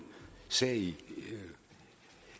sag i